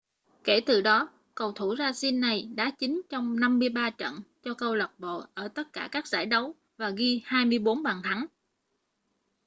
kể từ đó cầu thủ brazil này đá chính trong 53 trận cho câu lạc bộ ở tất cả các giải đấu và ghi 24 bàn thắng